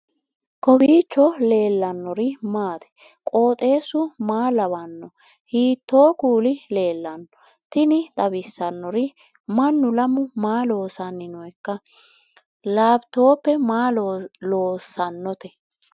kowiicho leellannori maati ? qooxeessu maa lawaanno ? hiitoo kuuli leellanno ? tini xawissannori mannu lamu maa loossanni nooika lapitope maa loossannote